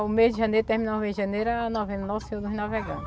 O mês de janeiro, terminava o mês de janeiro, era novembro